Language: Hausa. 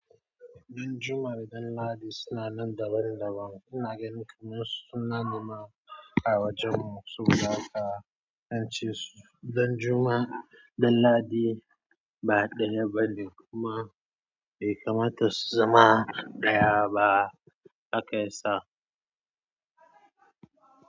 Ɗan juma da ɗan ladi suna nan daban daban. Ina gani kamar suna ne ma a wajen mu, saboda haka, zance su, ɗan juma, ɗan ladi ba ɗaya bane kuma bai kamata su zama ɗaya ba aka isa.